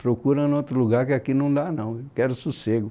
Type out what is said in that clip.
Procura em outro lugar, que aqui não dá não, quero sossego.